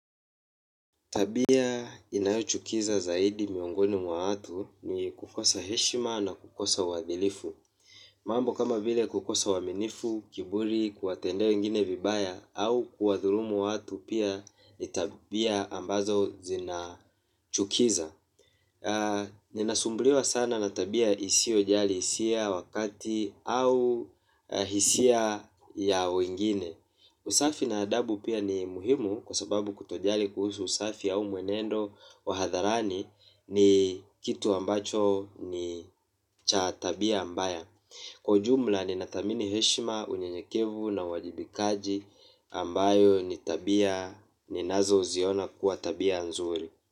Tabia inayochukiza zaidi miongoni mwa watu ni kukosa heshima na kukosa uadilifu. Mambo kama vile kukosa uaminifu, kiburi, kuwatendea wengine vibaya, au kuwadhulumu watu pia ni tabia ambazo zinachukiza. Ninasumbuliwa sana na tabia isiyojali hisia ya wakati au hisia ya wengine. Usafi na adabu pia ni muhimu kwa sababu kutojali kuhusu usafi au mwenendo wa hadharani ni kitu ambacho ni cha tabia mbaya. Kwa jumla ninathamini heshima, unyenyekevu na uwajibikaji ambayo ni tabia ninazoziona kuwa tabia nzuri.